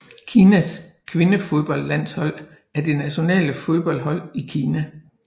Kinas kvindefodboldlandhsold er det nationale fodboldhold i Kina